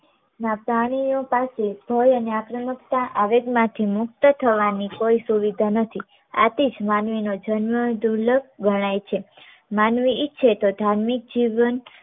પ્રાણીઓ પાસે ભય અને આક્રામકતા આવેગમાંથી મુક્ત થવાની કોઈ સુવિધા નથી આથી જ માનવીનો જન્મ દુર્લભ ગણાય છે માનવી ઈચ્છે તો ધાર્મિક જીવન